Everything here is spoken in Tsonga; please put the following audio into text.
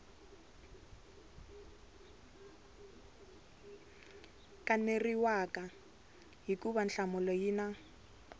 kaneriwaka hikuva nhlamulo yi na